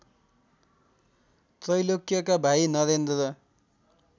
त्रैलोक्यका भाइ नरेन्द्र